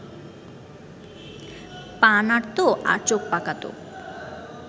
পা নাড়ত আর চোখ পাকাত